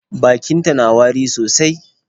Bakinta na wari sosai.